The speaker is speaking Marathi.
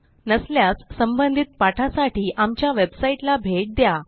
नसल्यास संबंधित पाठासाठी आमच्या वेबसाईटला भेट द्या